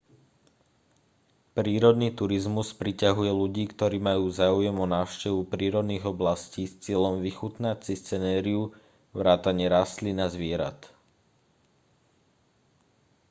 prírodný turizmus priťahuje ľudí ktorí majú záujem o návštevu prírodných oblastí s cieľom vychutnať si scenériu vrátane rastlín a zvierat